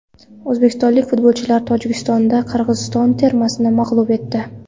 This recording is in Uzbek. O‘zbekistonlik futbolchilar Tojikistonda Qirg‘iziston termasini mag‘lub etdi.